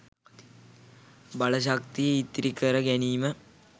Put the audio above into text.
බලශක්තිය ඉතිරි කර ගැනීම